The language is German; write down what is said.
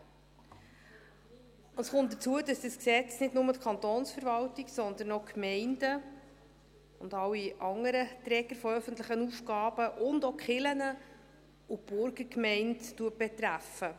Hinzu kommt, dass dieses Gesetz nicht nur die Kantonsverwaltung, sondern auch die Gemeinden und alle anderen Träger von öffentlichen Aufgaben betrifft, auch die Kirchen und die Burgergemeinden.